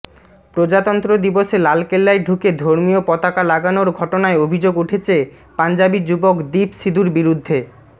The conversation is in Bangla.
প্রজাতন্ত্র দিবসে লালকেল্লায় ঢুকে ধর্মীয় পতাকা লাগানোর ঘটনায় অভিযোগ উঠেছে পঞ্জাবি যুবক দীপ সিধুর বিরুদ্ধে